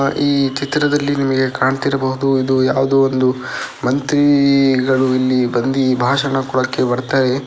ಆಹ್ಹ್ ಈ ಚಿತ್ರದಲ್ಲಿ ನಿಮಗೆ ಕಾಣ್ತಿರಬಹುದು ಇದು ಯಾವುದೊ ಒಂದು ಮಂತ್ರಿಗಳು ಇಲ್ಲಿ ಬಂದಿ ಭಾಷಣ ಕೊಡೊಕೆ ಬರ್ತಾರೆ .